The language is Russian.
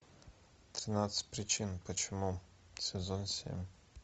тринадцать причин почему сезон семь